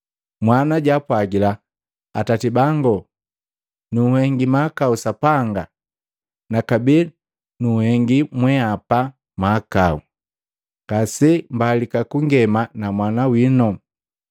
“Mwana jaapwagila, ‘Atati bango, nunhengi mahakau Sapanga na kabee nunhengi mwenhapa mahakau. Ngasembalika kungema na mwana wino.’